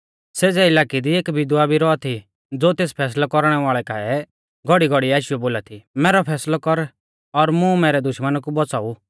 सेज़ै इलाकै दी एक विधवा भी रौआ थी ज़ो तेस फैसलै कौरणै वाल़ै काऐ घौड़ीघौड़ीऐ आशीयौ बोला थी मैरौ फैसलौ कर और मुं मैरै दुश्मना कु बौच़ाऊ